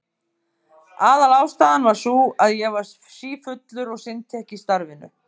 Aðalástæðan var sú að ég var sífullur og sinnti ekki starfinu.